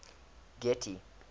getty